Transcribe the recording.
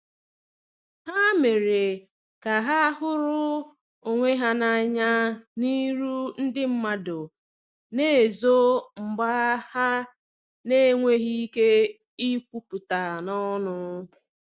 Ha mere ka ha huru onwe ha na anya n'iru ndi madu na ezo mgba ha n enweghi ike ikwuputa n'onu